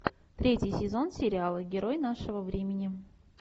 третий сезон сериала герой нашего времени